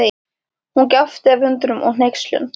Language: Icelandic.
Hún gapti af undrun og hneykslun.